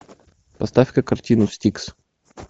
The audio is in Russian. поставь ка картину стикс